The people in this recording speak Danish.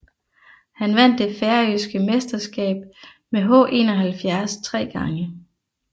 Han vandt det færøske mesterskab med H71 tre gange